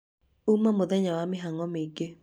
ũũma mũthenya wa mĩhang'o mĩingĩ